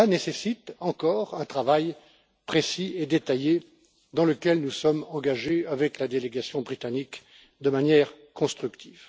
Et cette tâche nécessite encore un travail précis et détaillé, dans lequel nous sommes engagés avec la délégation britannique de manière constructive.